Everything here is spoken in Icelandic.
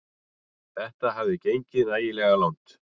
Þetta hafði gengið nægilega langt.